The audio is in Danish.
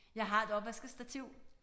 Jeg har et opvaskestativ